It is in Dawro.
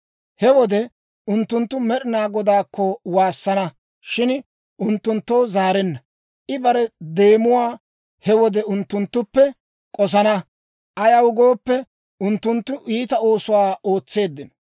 He wode unttunttu Med'ina Godaakko waassana, shin I unttunttoo zaarenna; I bare deemuwaa he wode unttunttuppe k'osana; ayaw gooppe, unttunttu iita oosuwaa ootseeddino.